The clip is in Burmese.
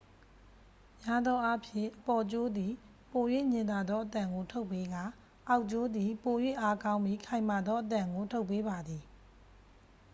များသောအားဖြင့် အပေါ်ကြိုးသည် ပို၍ညင်သာသောအသံကိုထုတ်ပေးကာ အောက်ကြိုးသည် ပို၍အားကောင်းပြီး ခိုင်မာသောအသံကို ထုတ်ပေးပါသည်